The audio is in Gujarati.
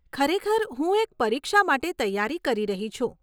ખરેખર હું એક પરીક્ષા માટે તૈયારી કરી રહી છું.